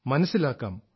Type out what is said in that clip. മനസ്സിലാക്കാം